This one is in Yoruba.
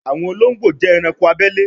àwọn olóńgbò jé ẹranko abele